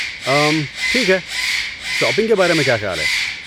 اممم، ٹھیک ہے، شاپنگ کے بارے میں کیا خیال ہے؟